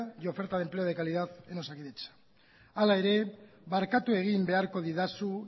y oferta de empleo de calidad en osakidetza hala ere barkatu egin beharko didazu